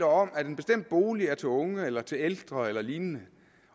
om at en bestemt bolig er til unge eller til ældre eller lignende